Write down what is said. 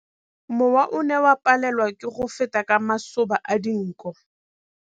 Mowa o ne o palelwa ke go feta ka masoba a dinko.